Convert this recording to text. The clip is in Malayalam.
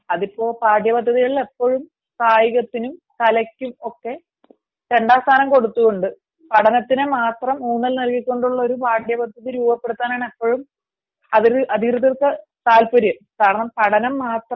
അതിപ്പോ പാഠ്യപദ്ധതിയിൽ എപ്പോഴും കലക്കും കായികത്തിനും രണ്ടാം സ്ഥാനം കൊടുത്തുകൊണ്ട് പഠനത്തിന് മാത്രം ഊന്നൽ കൊടുത്തുകൊണ്ട് ഉള്ള ഒരു പാഠ്യപദ്ധതി രൂപപെടുത്താനാണ് അതിൽ അധികൃതർക്ക് താല്പര്യം കാരണം പഠനം മാത്രം